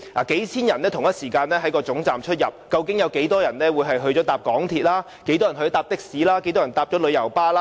數千人同時出入高鐵車站，究竟有多少人會乘搭港鐵、的士或旅遊巴？